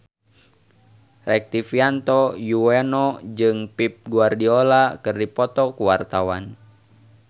Rektivianto Yoewono jeung Pep Guardiola keur dipoto ku wartawan